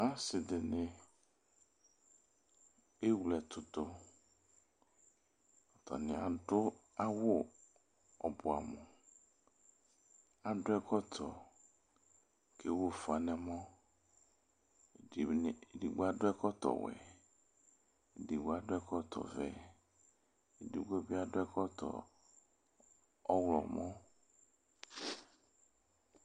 Asɩ dɩnɩ ewle ɛtʋ dʋ Atanɩ adʋ awʋ ɔbɛamʋ Adʋ ɛkɔtɔ kʋ ewu ʋfa nʋ ɛmɔ Ɛdɩnɩ, edigbo adʋ ɛkɔtɔwɛ Edigbo adʋ ɛkɔtɔvɛ Edigbo bɩ adʋ ɛkɔtɔ ɔɣlɔmɔ